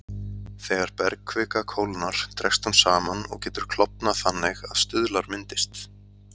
Þegar bergkvika kólnar dregst hún saman og getur klofnað þannig að stuðlar myndist.